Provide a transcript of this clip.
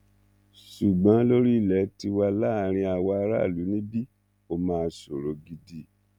ṣùgbọn lórí ilẹ tiwa láàrin àwa aráàlú níbí ó máa ṣòro gidi